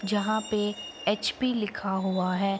जहाँ पे एच.पी. लिखा हुआ है।